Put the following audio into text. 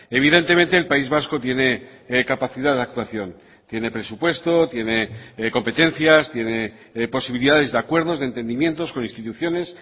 evidentemente el país vasco tiene capacidad de actuación tiene presupuesto tiene competencias tiene posibilidades de acuerdos de entendimientos con instituciones